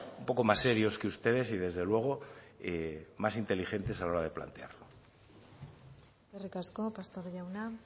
un poco más serios que ustedes y desde luego más inteligentes a la hora de plantearlo eskerrik asko pastor jauna